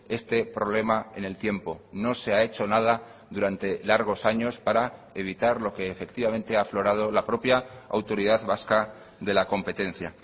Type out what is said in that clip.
este problema en el tiempo no se ha hecho nada durante largos años para evitar lo que efectivamente ha aflorado la propia autoridad vasca de la competencia